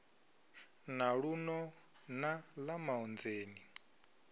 na luno na ḽa maonzeni